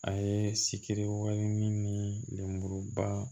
A ye sikiri wali min ni lemuruba